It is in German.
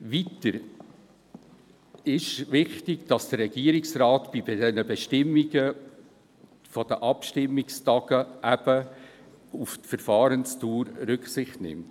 Weiter ist es eben wichtig, dass der Regierungsrat bei der Bestimmung der Abstimmungstage auf die Verfahrensdauer Rücksicht nimmt.